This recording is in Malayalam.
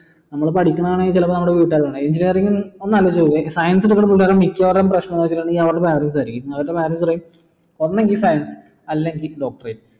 നമ്മള് പഠിക്കണത് വേണങ്കി ചിലപ്പോ നമ്മുടെ വീട്ടുകാർക്ക് അറിയാം engineering ഒന്ന് അലോയിച്ചുനോക്ക് science മിക്യവാറും പ്രശ്നങ്ങൾ അവിടത്തെ manager ആയി ഒന്നെങ്കി science അല്ലെങ്കി doctorate